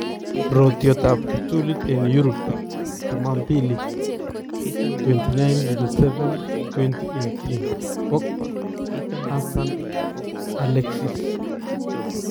Rotyootab kiptuliit en Europe chumambili 29.07.2018: pogba , Hazard, Alexis.